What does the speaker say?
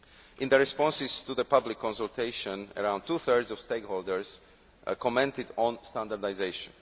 In the responses to the public consultation, around two thirds of stakeholders commented on standardisation.